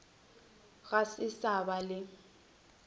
go se sa ba le